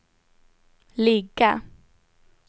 ligga